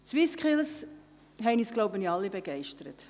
Die SwissSkills haben uns wohl alle begeistert.